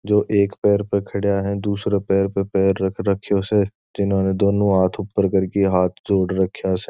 जो एक पैर पे खड्या है दूसरा पैर पे पैर रख राख्यो जिन्होंने दोनों हाथ ऊपर कर करके हाथ जोड़ राख्या से।